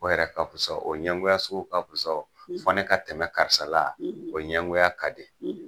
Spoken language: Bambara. O yɛrɛ ka fusa o ɲɛgoya sugu ka fusa. . Fo ne ka tɛmɛ karisa la. . O ɲɛgoya ka di.